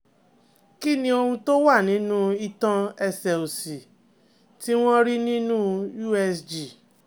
Kí ni ohun to wa ninú itan ẹsẹ̀ òsì tí wọ́n rí nínú usg?